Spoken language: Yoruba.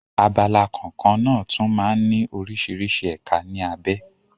Abala kọ̀ọ̀kan náà tún máa ń ní oríṣiríṣi ẹ̀ka ní abé.